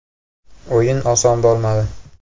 O‘yin oson bo‘lmadi.